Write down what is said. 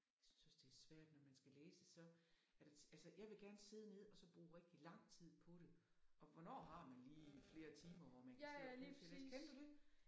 Jeg synes også det svært når man skal læse så er der altså jeg vil rigtig godt sidde og så bruge lang tid på det og hvornår har man lige flere timer hvor man kan sidde og bruge til at læse. Kender du det?